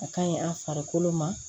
A kaɲi an farikolo ma